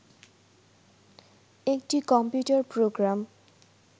একটি computer programme